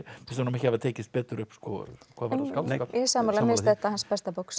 finnst honum ekki hafa tekist betur upp hvað varðar skáldskap sammála mér finnst þetta hans besta bók sem